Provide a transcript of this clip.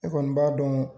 Ne kɔni b'a dɔn